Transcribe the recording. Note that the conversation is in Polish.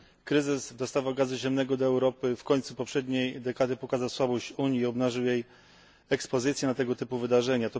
Kryzys w dostawach gazu ziemnego do Europy w końcu poprzedniej dekady pokazał słabość Unii i obnażył jej ekspozycję na tego typu wydarzenia.